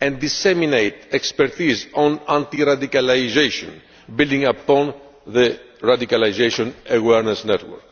and disseminate expertise on anti radicalisation, building upon the Radicalisation Awareness Network.